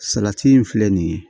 Salati in filɛ nin ye